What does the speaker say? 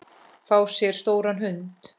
Fá sér stóran hund?